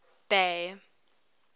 bay